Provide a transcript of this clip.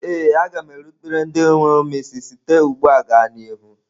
Ee a ga m erubere ndị mụrụ m isi site ugbu a gaa n'ihu.